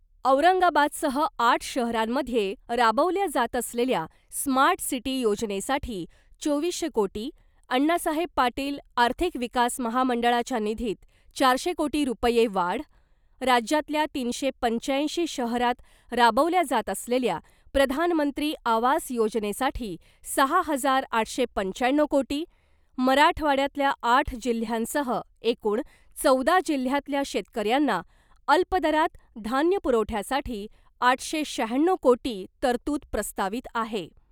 औरंगाबादसह आठ शहरांमध्ये राबवल्या जात असलेल्या स्मार्ट सिटी योजनेसाठी चोवीसशे कोटी , अण्णासाहेब पाटील आर्थिक विकास महामंडळाच्या निधीत चारशे कोटी रुपये वाढ , राज्यातल्या तीनशे पंच्याऐंशी शहरांत राबवल्या जात असलेल्या प्रधानमंत्री आवास योजनेसाठी सहा हजार आठशे पंच्याण्णव कोटी , मराठवाड्यातल्या आठ जिल्ह्यांसह एकूण चौदा जिल्ह्यातल्या शेतकऱ्यांना अल्पदरांत धान्य पुरवठ्यासाठी आठशे शहाण्णव कोटी तरतूद प्रस्तावित आहे .